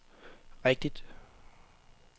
rigtigt